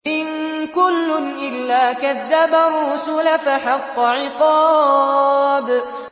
إِن كُلٌّ إِلَّا كَذَّبَ الرُّسُلَ فَحَقَّ عِقَابِ